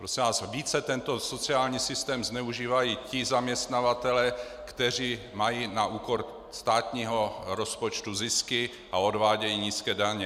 Prosím vás, více tento sociální systém zneužívají ti zaměstnavatelé, kteří mají na úkor státního rozpočtu zisky a odvádějí nízké daně.